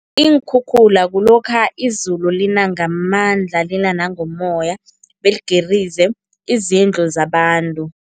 Iinkhukhula kulokha izulu lina ngamandla lina nangomoya, beligirize izindlu zabantu.